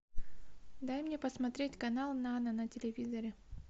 дай мне посмотреть канал нано на телевизоре